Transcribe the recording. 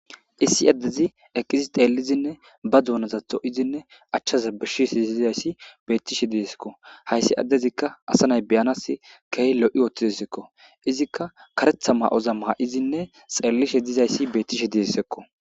issi addezi eqqizi xeellizinne ba duunaza soydinne achchaza besizays beettishe disekko, hayssi addezikka asa nay beyanas keeh lo'i utidesko, izikka karetha ma'oza ma'idinne xeellishe dizayssi beettishe dessekko